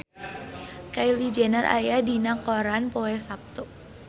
Kylie Jenner aya dina koran poe Saptu